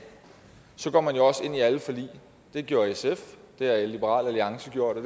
går man også ind i alle forligene det gjorde sf det har liberal alliance gjort og